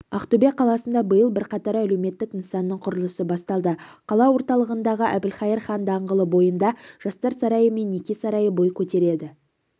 ақтөбе қаласында биыл бірқатар әлеуметтік нысанның құрылысы басталды қала орталығындағы әбілқайыр хан даңғылы бойында жастар сарайы мен неке сарайы бой көтереді